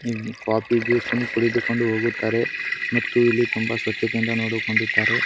ಇಲ್ಲಿ coffee juice ಅನ್ನು ಕುಡಿದುಕೊಂಡು ಹೋಗುತ್ತಾರೆ ಮತ್ತು ಇಲ್ಲಿ ತುಂಬಾ ಸ್ವಚ್ಛತೆಯಿಂದ ನೋಡಿಕೊಂಡಿದ್ದಾರೆ .